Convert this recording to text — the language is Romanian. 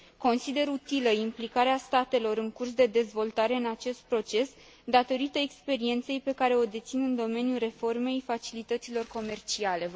Consider utilă implicarea statelor în curs de dezvoltare în acest proces, datorită experienței pe care o dețin în domeniul reformei facilităților comerciale.